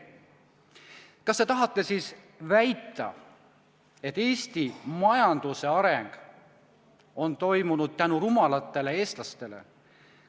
Kas te tahate väita, et Eesti majanduse areng on toimunud tänu rumalatele eestlastele?